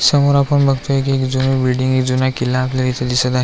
समोर आपण बघतोय की एक जुनी बिल्डिंग एक जुना किल्ला आपल्याला दिसत आहेत.